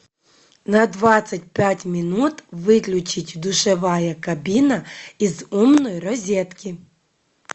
на двадцать пять минут выключить душевая кабина из умной розетки